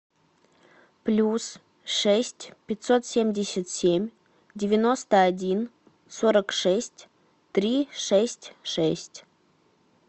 плюс шесть пятьсот семьдесят семь девяносто один сорок шесть три шесть шесть